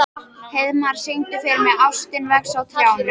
Heiðmar, syngdu fyrir mig „Ástin vex á trjánum“.